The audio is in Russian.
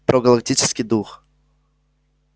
про галактический дух